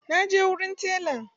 Na je wurin telan.